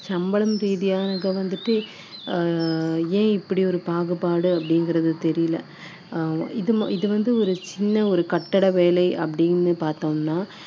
இப்பவுமே பாத்தீங்கன்னா ஆண்களுக்கு வந்து ஒரு நாள் தினசரி ஆயிரம் ரூபாய் கொடுக்குறாங்கன்னா பெண்களுக்கு வந்து வெறும் அறுநூறு எழுநூறு ரூபாய் தான் கொடுக்குறாங்க இப்பவும் ஏன் வந்து அந்த மாதிரி சம்பளம் ரீதியானது வந்துட்டு